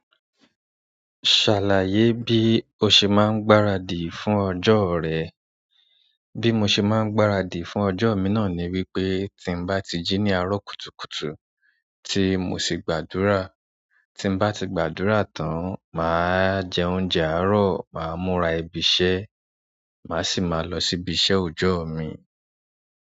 Ṣàlàyé bí o ṣe máa ń gbáradì fún ọjọ́ rẹ. Bí mo ṣe máa ń gbáradì fún ọjọ́ mi náà ni wípé tí n bá ti jí ní àárọ̀ kùtùkùtù tí mo sì gbàdúrà, tí n bá ti gbàdúrà tán, mà á jẹ oúnjẹ àárọ̀, mà á múra ibi iṣẹ́, mà sì máa lọ sí ibi iṣẹ́ oojọ́ mi.